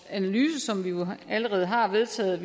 analyse som vi jo allerede har vedtaget